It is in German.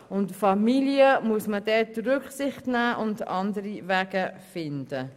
Bei der Familie muss man Rücksicht nehmen und andere Wege finden.